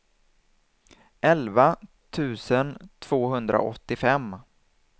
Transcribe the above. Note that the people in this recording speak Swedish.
elva tusen tvåhundraåttiofem